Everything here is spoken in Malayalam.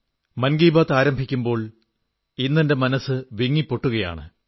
മൻ കീ ബാത് ആരംഭിക്കുമ്പോൾ ഇന്നെന്റെ മനസ്സ് വിങ്ങിപ്പൊട്ടുകയാണ്